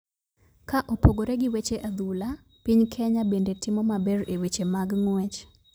Ka opogore gi weche adhula ,piny kenya bende timo maber e weche mag ng'uech.